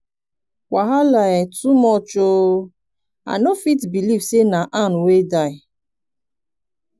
wahala um too much ooo! i no fit believe say na ann wey die.